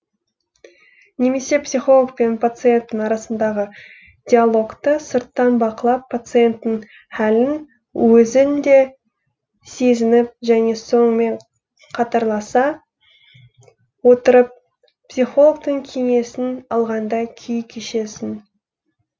немесе психолог пен пациенттің арасындағы диалогты сырттан бақылап пациенттің хәлін өзің де сезініп және сонымен қатарласа отырып психологтың кеңесін алғандай күй кешесің